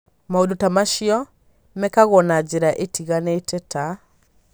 Maũndũ ta macio mekagwo na njĩra itiganĩte, ta: